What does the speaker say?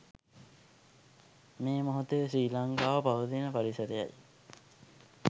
මේ මොහොතේ ශ්‍රී ලංකාව පවතින පරිසරයයි.